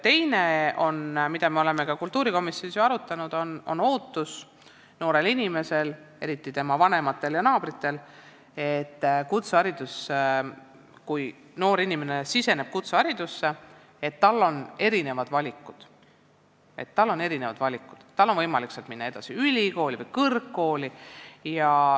Teine asi, mida me oleme ka kultuurikomisjonis arutanud, on noore inimese ning eriti tema vanemate ja naabrite ootus, et kui noor inimene siseneb kutseharidusse, siis tal oleks erinevaid valikuid: tal peaks olema võimalik minna sealt edasi ülikooli või kõrgkooli.